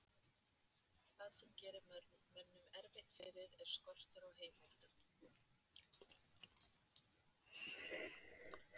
Það sem gerir mönnum erfitt fyrir er skortur á heimildum.